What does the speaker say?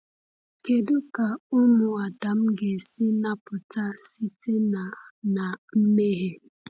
Kedu ka ụmụ Adam ga-esi napụta site na na mmehie?